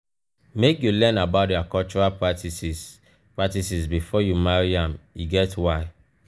make you learn about their cultural practices practices before you marry am e get why.